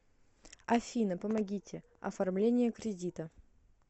афина помогите оформление кредита